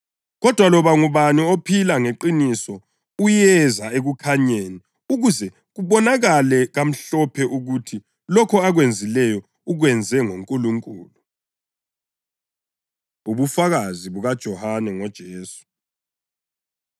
Kodwa loba ngubani ophila ngeqiniso uyeza ekukhanyeni ukuze kubonakale kamhlophe ukuthi lokho akwenzileyo ukwenze ngoNkulunkulu. Ubufakazi BukaJohane NgoJesu